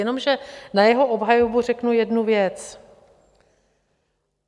Jenomže na jeho obhajobu řeknu jednu věc.